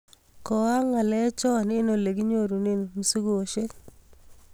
Koaak ngalek cho eng ole kinyorunee mzigoshek .